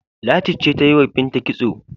Ladi ce take yi wa Binta kitso.